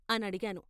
" అనడిగాను.